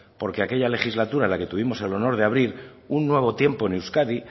porque aquella legislatura que tuvimos en la que tuvimos el honor de abrir un nuevo tiempo en euskadi